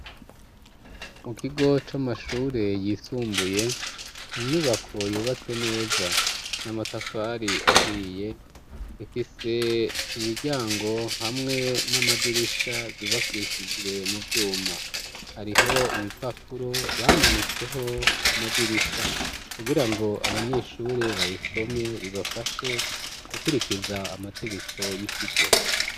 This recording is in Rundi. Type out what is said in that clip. Mu kigo c'amashure yisumbuye, inyubako yubatse neza n'amatafari ahiye. Ifise imiryango hamwe n'amadirisha vyubakishijwe mu vyuma. Hariho ibipapuro bamanitseho ku madirisha kugira ngo abanyeshure babisome bibafashe gukwiĥrikiza amategeko y'ikigo.